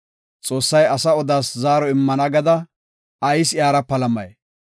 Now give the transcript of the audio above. ‘Xoossay asa odaas zaaro immenna’ gada, ayis iyara palamay?